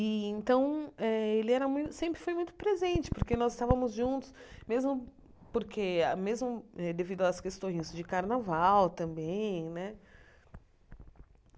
Então, eh ele era mui sempre foi muito presente, porque nós estávamos juntos, mesmo porque mesmo devido às questões de carnaval também né.